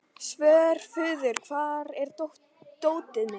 Svörfuður, hvar er dótið mitt?